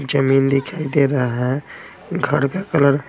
जमीन दिखाई दे रहा हैं घर का कलर --